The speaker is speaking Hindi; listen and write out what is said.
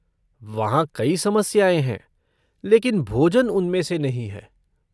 वहाँ कई समस्याएँ हैं लेकिन भोजन उनमें से नहीं है!